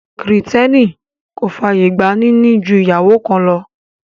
Kìrìtẹ́nì kò fàyè gba níní ju ìyàwó kan lọ